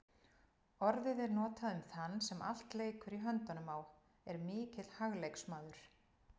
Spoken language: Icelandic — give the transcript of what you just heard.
Orðið er notað um þann sem allt leikur í höndunum á, er mikill hagleiksmaður.